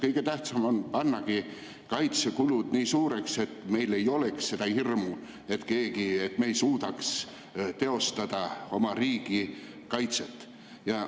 Kõige tähtsam on pannagi kaitsekulud nii suureks, et meil ei oleks seda hirmu, et me ei suuda teostada oma riigi kaitset.